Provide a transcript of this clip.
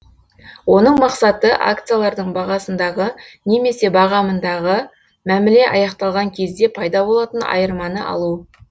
оның мақсаты акциялардың бағасындағы немесе бағамындағы мәміле аяқталған кезде пайда болатын айырманы алу